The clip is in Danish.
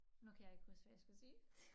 Nu kan jeg ikke huske hvad jeg skulle sige